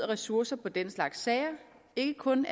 ressourcer på den slags sager ikke kun